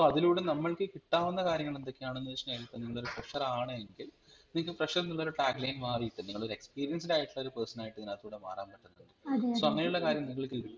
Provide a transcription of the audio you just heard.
ഇപ്പൊ അതിലൂടെ നമ്മൾക് കിട്ടാവുന്ന കാര്യങ്ങൾ എന്തൊക്കെയാണെന്ന് വെച്ചയിനാലിപ്പം നിങ്ങൾ ഒരു fresher ആണ് എങ്കിൽ നിങ്ങൾക് fresher ന്നുള്ള ഒരു tagline മാറിയിട്ട് നിങ്ങളൊരു experienced ആയിട്ടുള്ള ഒരു person ആയിട്ട് ഇതിനകത്തുകൂടെ മാറാൻ